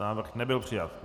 Návrh nebyl přijat.